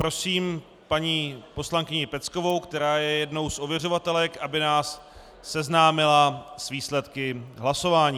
Prosím paní poslankyni Peckovou, která je jednou z ověřovatelek, aby nás seznámila s výsledky hlasování.